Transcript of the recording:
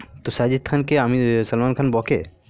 তো সাজিত খান কে আমি সালমান খান বকে